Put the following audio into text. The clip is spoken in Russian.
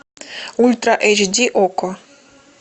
ультра эйч ди окко